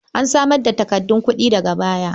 An samar da takardun kuɗi daga baya.